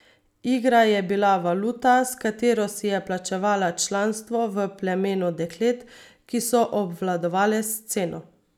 Igra je bila valuta, s katero si je plačevala članstvo v plemenu deklet, ki so obvladovale sceno.